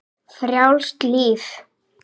Frjálst líf.